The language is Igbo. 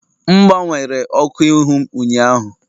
M gbanwere ọkụ ihu m ụnyaahụ